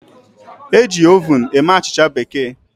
E ji Ovun eme Achicha bekee